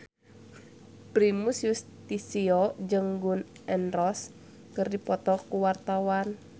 Primus Yustisio jeung Gun N Roses keur dipoto ku wartawan